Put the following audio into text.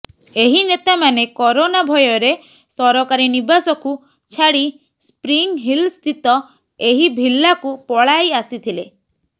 ଏହି ନେତାମାନେ କରୋନା ଭୟରେ ସରକାରୀ ନିବାସକୁ ଛାଡ଼ି ସ୍ପ୍ରିିଂ ହିଲସ୍ଥିତ ଏହି ଭିଲ୍ଲାକୁ ପଳାଇ ଆସିଥିଲେ